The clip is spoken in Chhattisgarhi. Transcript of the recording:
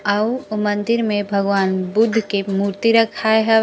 आऊ ओ मंदिर में भगवान बुद्ध के मूर्ति रखाय हावय--